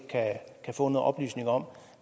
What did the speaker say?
kan få noget oplysning om